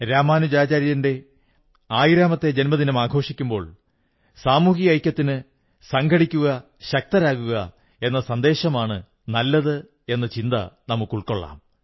രാമാനുജാചാര്യന്റെ ആയിരാമത്തെ ജന്മദിനമാഘോഷിക്കുമ്പോൾ സാമൂഹിക ഐക്യത്തിന് സംഘടിക്കുന്നതിലാണ് ശക്തിയെന്ന ചിന്താഗതി ഉണർത്തുന്നതിനു നാം പ്രേരണ ഉൾക്കൊള്ളാം